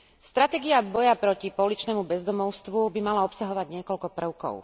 Stratégia boja proti pouličnému bezdomovstvu by mala obsahovať niekoľko prvkov.